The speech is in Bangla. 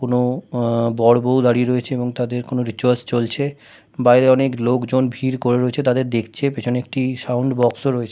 কোনো বর বৌ দাঁড়িয়ে রয়েছে এবং তাদের কোনো রিচুয়ালস চলছে বাইরে অনেক লোকজন ভিড় করে রয়েছে তাদের দেখছে পিছনে একটি সাউন্ড বক্স ও রয়েছে।